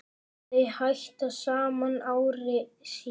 Þau hættu saman ári síðar.